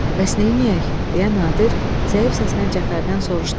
Bəs neyləyək, deyə Nadir zəif səslə Cəfərdən soruşdu.